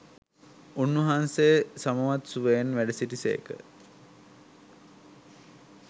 උන්වහන්සේ සමවත් සුවයෙන් වැඩසිටි සේක.